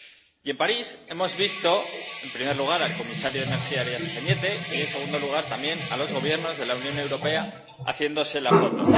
Y en París hemos visto, en primer lugar, al comisario de Acción por el Clima y Energía, Arias Cañete, y, en segundo lugar, también a los Gobiernos de la Unión Europea haciéndose la foto.